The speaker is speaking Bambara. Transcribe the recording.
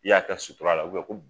I y'a kɛ sutura la u bɛ ko b